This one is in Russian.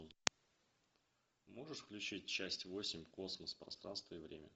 можешь включить часть восемь космос пространство и время